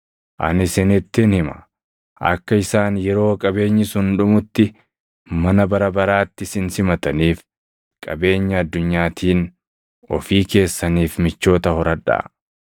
Ani isinittin hima; akka isaan yeroo qabeenyi sun dhumutti mana bara baraatti isin simataniif qabeenya addunyaatiin ofii keessaniif michoota horadhaa.